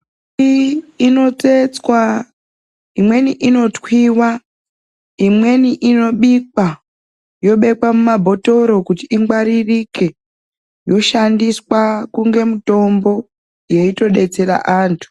Iyi ino tsetswa imweni ino twiwa imweni ino bikwa yo bekwa mu mabhotoro kuti ingwaririke yoshandiswa kunge mutombo yeito detsera antu.